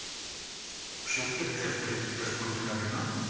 shift F three press பண்ணிட்டீங்க அப்படின்னா